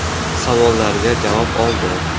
Savollariga javob oldi.